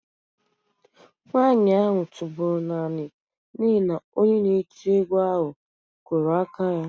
Nwanyị ahụ tụbọrọ naanị n'ihi na onye na-eti egwu ahụ kụrụ aka ya